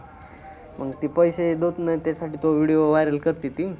मंग ते पैशे देत नाही, त्यासाठी तो video viral करते ती.